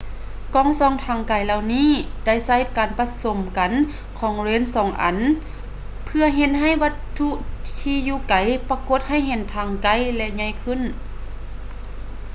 ກ້ອງສ່ອງທາງໄກເຫຼົ່ານີ້ໄດ້ໃຊ້ການປະສົມກັນຂອງເລນສອງອັນເພື່ອເຮັດໃຫ້ວັດຖຸທີ່ຢູ່ໄກປະກົດໃຫ້ເຫັນທັງໃກ້ ແລະ ໃຫຍ່ຂຶ້ນ